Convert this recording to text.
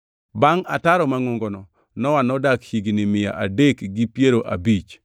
Bangʼ ataro mangʼongono, Nowa nodak higni mia adek gi piero abich.